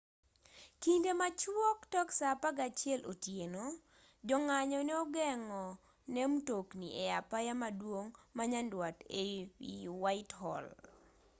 kinde machuok tok saa 11:00 otieno jong'anyo ne ogeng'o ne mtokni e apaya maduong' ma nyanduat ei whitehall